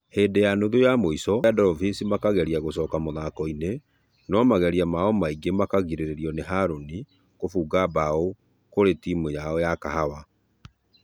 Hĩndĩ ya nuthu ya mũisho , timũ ya dolphins makegeria gũcoka mũthako-inĩ no mageria mao maingĩ makegirererio nĩ haron kũfũga bao kũri timũ ya kahawa